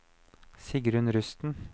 Sigrunn Rusten